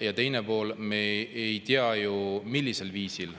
Ja teine pool: me ei tea ju, millisel viisil